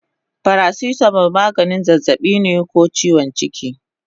Paracetamol maganin zazzabi ko chiwon jiki